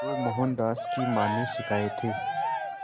जो मोहनदास की मां ने सिखाए थे